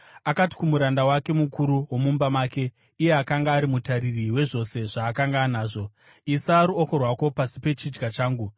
Akati kumuranda wake mukuru womumba make, iye akanga ari mutariri wezvose zvaakanga anazvo, “Isa ruoko rwako pasi pechidya changu.